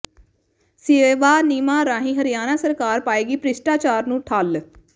ਸੇਵਾ ਨਿਯਮਾਂ ਰਾਹੀਂ ਹਰਿਆਣਾ ਸਰਕਾਰ ਪਾਏਗੀ ਭ੍ਰਿਸ਼ਟਾਚਾਰ ਨੂੰ ਠੱਲ੍ਹ